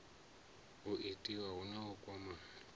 itiwa hu na u kwamana